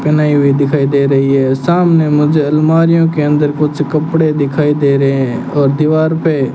पहनाई हुई दिखाई दे रही है सामने मुझे अलमारीयो के अंदर कुछ कपड़े दिखाई दे रहे है और दीवार पे --